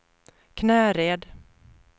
Knäred